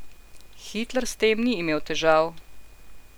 Hitler s tem ni imel težav.